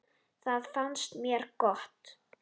Það fannst mér gott.